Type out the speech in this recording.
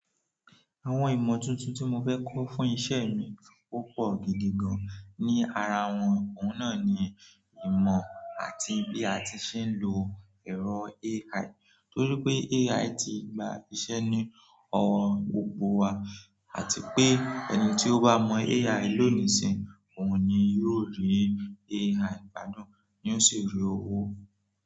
Àwọn ìmọ̀ tuntun tí mo fẹ́ kọ́ fún iṣẹ́ mi opọ̀ gidi gan-an. Ni ara wọn, òun náà ni ìmọ̀ àti bí a ti ṣe ń lo ẹ̀rọ AI. Torí pé AI ti gba iṣẹ́ ní ọ̀wọ̀ gbogbo wa àti pé ẹni tí ó bá mo AI lónìí sí òun ni yóò rí AI gbádùn yo sì rí owó.